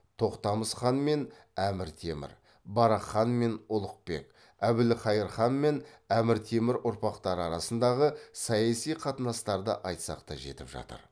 тоқтамыс хан мен әмір темір барақ хан мен ұлықбек әбілқайыр хан мен әмір темір ұрпақтары арасындағы саяси қатынастарды айтсақ та жетіп жатыр